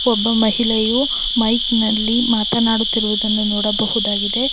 ಒಬ್ಬ ಮಹಿಳೆಯು ಮೈಕ್ ನಲ್ಲಿ ಮಾತನಾಡುತ್ತಿರುವುದನ್ನು ನೋಡಬಹುದಾಗಿದೆ .